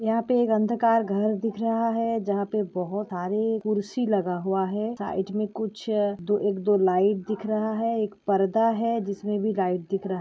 यहाँ पे एक अंधकार घर दिख रहा है जहा पे बहुत सारी कुर्सी लगा हुआ है साइड में कुछ अ- दो-एक दो लाइट दिख रहा है एक पर्दा है जिस में भी लाइट दिख रहा --